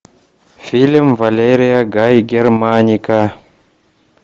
фильм валерия гай германика